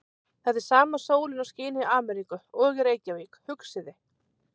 Þetta er sama sólin og skín í Ameríku. og í Reykjavík, hugsaði